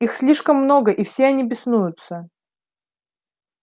их слишком много и все они беснуются